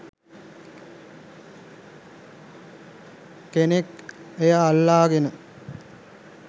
කෙනෙක් එය අල්ලාගෙන